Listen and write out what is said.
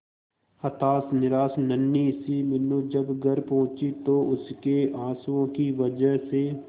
हताश निराश नन्ही सी मीनू जब घर पहुंची तो उसके आंसुओं की वजह से